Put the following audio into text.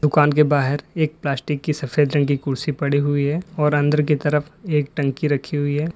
दुकान के बाहर एक प्लास्टिक की सफेद रंग की कुर्सी पड़ी हुई है और अंदर की तरफ एक टंकी रखी हुई है।